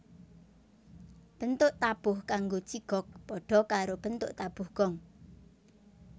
Bentuk tabuh kanggo jigog padha karo bentuk tabuh Gong